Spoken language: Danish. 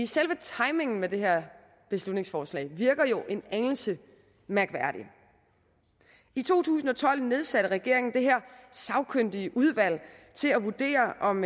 selve timingen med det her beslutningsforslag virker jo en anelse mærkværdig i to tusind og tolv nedsatte regeringen det her sagkyndige udvalg til at vurdere om